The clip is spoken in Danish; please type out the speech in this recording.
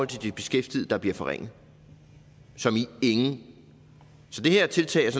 de beskæftigede der bliver forringet som i så det her tiltag er